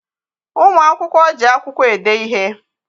Ụmụ akwụkwọ ji akwụkwọ ede ihe.